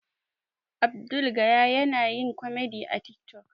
Abdul gaya yana yin komedi a tik tok